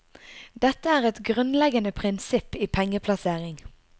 Dette er et grunnleggende prinsipp i pengeplassering.